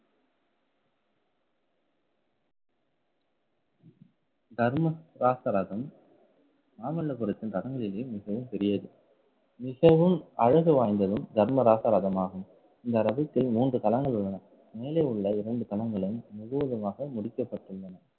தர்ம சாஸ்திரகம் மாமல்லபுரத்தின் ரதங்களிலே மிகவும் பெரியது. மிகவும் அழகு வாய்ந்ததும் தர்மராச ரதமாகும். இந்த ரவிக்கை மூன்று தளங்கள் உள்ளன. மேலே உள்ள இரண்டு தளங்களும் முழுவதுமாக முடிக்கப்பட்டுள்ளன